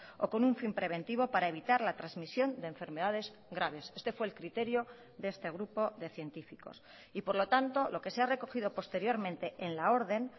o con un fin preventivo para evitar la transmisión de enfermedades graves este fue el criterio de este grupo de científicos y por lo tanto lo que se ha recogido posteriormente en la orden